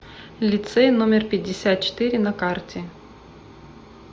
лицей номер пятьдесят четыре на карте